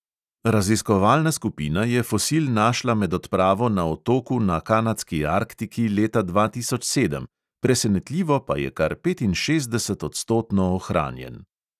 Raziskovalna skupina je fosil našla med odpravo na otoku na kanadski arktiki leta dva tisoč sedem, presenetljivo pa je kar petinšestdesetodstotno ohranjen.